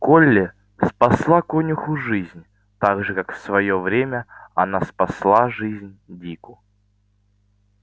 колли спасла конюху жизнь так же как в своё время она спасла жизнь дику